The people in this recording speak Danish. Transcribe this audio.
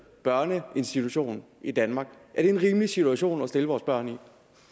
børneinstitution i danmark er det en rimelig situation at sætte vores børn